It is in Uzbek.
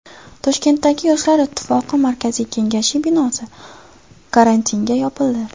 Toshkentdagi Yoshlar ittifoqi markaziy kengashi binosi karantinga yopildi.